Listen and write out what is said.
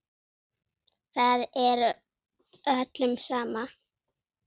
Það er öllum sama.